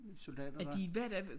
Soldater der?